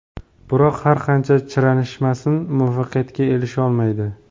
Biroq, har qancha chiranishmasin, muvaffaqiyatga erisholmaydi”.